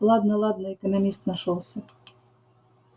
ладно ладно экономист нашёлся